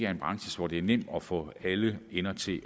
er en branche hvor det er nemt at få alle ender til